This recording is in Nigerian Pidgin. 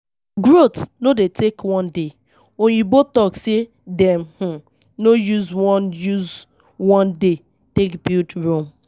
Growth no dey take one day, oyibo talk sey dem um no use one use one day take build Rome